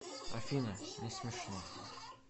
афина несмешно